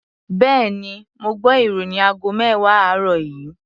Bẹ́ẹ̀ni, mo gbọ́ ìròyìn aago mẹ́wàá àárọ̀ yìí.